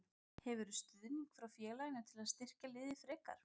Hefurðu stuðning frá félaginu til að styrkja liðið frekar?